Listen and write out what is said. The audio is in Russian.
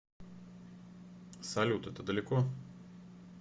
салют это далеко